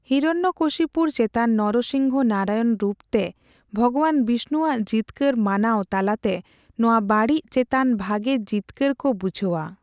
ᱦᱤᱨᱚᱱᱱᱚᱠᱚᱥᱤᱯᱩᱨ ᱪᱮᱛᱟᱱ ᱱᱚᱨᱚᱥᱤᱝᱦᱚ ᱱᱟᱨᱟᱭᱚᱱ ᱨᱩᱯᱛᱮ ᱵᱷᱚᱜᱚᱵᱟᱱ ᱵᱤᱥᱱᱩᱣᱟᱜ ᱡᱤᱛᱠᱟᱹᱨ ᱢᱟᱱᱟᱣ ᱛᱟᱞᱟᱛᱮ ᱱᱚᱣᱟ ᱵᱟᱹᱲᱤᱡ ᱪᱮᱛᱟᱱ ᱵᱷᱟᱜᱮ ᱡᱤᱛᱠᱟᱹᱨ ᱠᱚ ᱵᱩᱡᱷᱟᱹᱣᱼᱟ ᱾